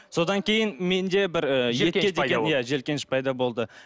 содан кейін менде бір жиіркеніш пайда болды